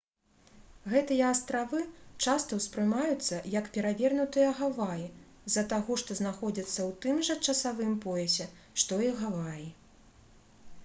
гэтыя астравы часта ўспрымаюцца як «перавернутыя гаваі» з-за таго што знаходзяцца ў тым жа часавым поясе што і гаваі